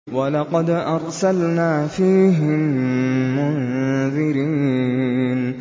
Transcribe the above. وَلَقَدْ أَرْسَلْنَا فِيهِم مُّنذِرِينَ